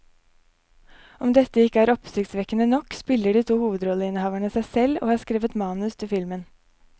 Om dette ikke er oppsiktsvekkende nok, spiller de to hovedrolleinnehaverne seg selv og har skrevet manus til filmen.